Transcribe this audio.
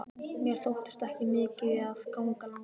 Mér þótti ekki mikið að ganga langar leiðir.